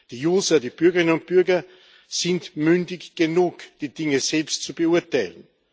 Die User, die Bürgerinnen und Bürger sind mündig genug, die Dinge selbst zu beurteilen.